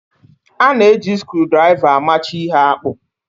A na-eji skrudraịva amachi ihe akpụ.